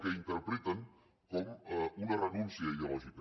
que interpreten com una renúncia ideològica